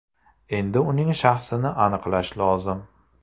Endi uning shaxsini aniqlash lozim.